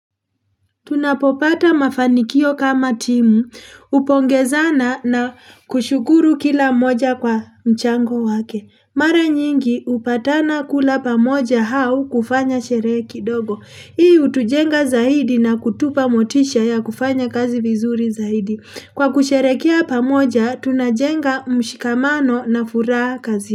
Tunapopata mafanikio kama timu. Upongezana na kushukuru kila mmoja kwa mchango wake. Mara nyingi upatana kula pamoja hau kufanya sherehe kidogo. Hii utujenga zaidi na kutupa motisha ya kufanya kazi vizuri zaidi. Kwa kusherekea pamoja tunajenga mshikamano na furaha kazi.